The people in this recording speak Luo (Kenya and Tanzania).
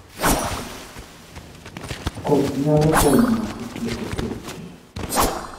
Koth nyalo konyo e tieko kech